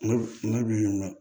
Ne bi ka